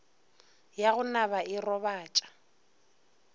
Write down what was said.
ya go naba e robatša